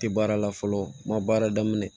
Tɛ baara la fɔlɔ n ma baara daminɛ